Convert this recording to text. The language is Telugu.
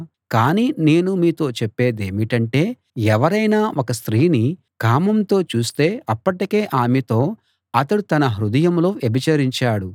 కానీ నేను మీతో చెప్పేదేమిటంటే ఎవరైనా ఒక స్త్రీని కామంతో చూస్తే అప్పటికే ఆమెతో అతడు తన హృదయంలో వ్యభిచరించాడు